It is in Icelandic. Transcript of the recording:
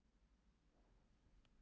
Við horfðumst í augu.